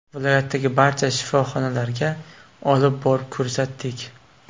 Viloyatdagi barcha shifoxonalarga olib borib ko‘rsatdik.